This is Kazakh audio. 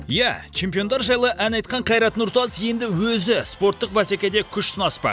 иә чемпиондар жайлы ән айтқан қайрат нұртас енді өзі спорттық бәсекеде күш сынаспақ